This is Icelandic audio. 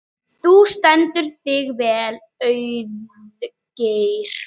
Þú stendur þig vel, Auðgeir!